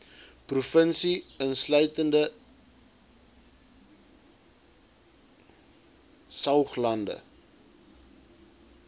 provinsie insluitende saoglande